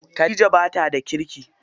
Khadija bata da kirki.